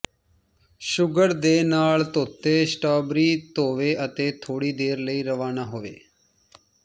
sugar ਦੇ ਨਾਲ ਧੋਤੇ ਸਟ੍ਰਾਬੇਰੀ ਧੋਵੋ ਅਤੇ ਥੋੜ੍ਹੀ ਦੇਰ ਲਈ ਰਵਾਨਾ ਹੋਵੋ